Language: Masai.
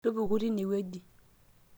tupuku tine wueji